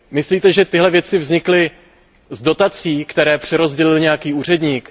Myslíte, že tyhle věci vznikly z dotací, které přerozdělil nějaký úředník?